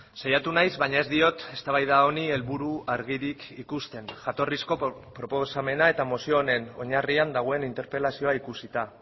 saiatu naiz baina ez diot eztabaida honi helburu argirik ikusten jatorrizko proposamena eta mozio honen oinarrian dagoen interpelazioa ikusita